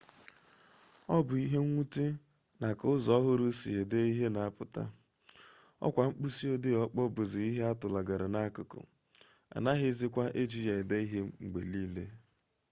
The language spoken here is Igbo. ọ bụ ihe mwute na ka ụzọ ọhụrụ e si ede ihe na-apụta 'ọkwa' mkpịsịodee ọkpọọ bụzi ihe a tụlagara n'akụkụ anaghịzikwa eji ya ede ihe mgbe niile